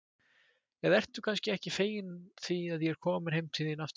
Eða ertu kannski ekki fegin því að ég er komin heim til þín aftur?